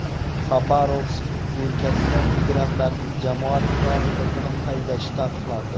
Xabarovsk o‘lkasida migrantlarning jamoat transportini haydashi taqiqlandi.